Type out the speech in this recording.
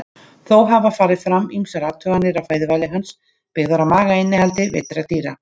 Þó hafa farið fram ýmsar athuganir á fæðuvali hans byggðar á magainnihaldi veiddra dýra.